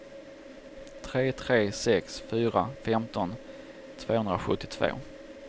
tre tre sex fyra femton tvåhundrasjuttiotvå